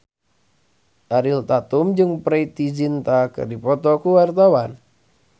Ariel Tatum jeung Preity Zinta keur dipoto ku wartawan